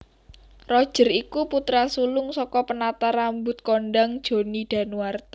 Roger iku putra sulung saka penata rambut kondhang Johnny Danuarta